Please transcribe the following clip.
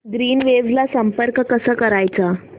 Greenwaves ला संपर्क कसा करायचा